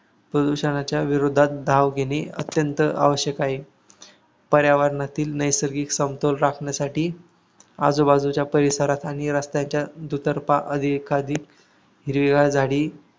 प्रदूषणाच्या विरोधात धाव घेणे अत्यंत आवश्यक आहे. पर्यावणातील नैसर्गिक समतोल राखण्यासाठी आजूबाजूच्या परिसरात आणि रस्त्याच्या दुतर्फा एखादी हिरवीगार झाडी